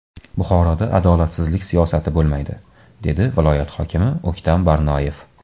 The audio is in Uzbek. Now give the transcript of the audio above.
Buxoroda adolatsizlik siyosati bo‘lmaydi”, dedi viloyat hokimi O‘ktam Barnoyev.